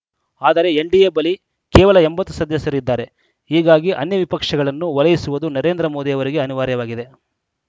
ಆದರೆ ಎನ್‌ಡಿಎ ಬಳಿ ಕೇವಲ ಎಂಬತ್ತು ಸದಸ್ಯರು ಇದ್ದಾರೆ ಹೀಗಾಗಿ ಅನ್ಯ ವಿಪಕ್ಷಗಳನ್ನು ಓಲೈಸುವುದು ನರೇಂದ್ರ ಮೋದಿ ಅವರಿಗೆ ಅನಿವಾರ್ಯವಾಗಿದೆ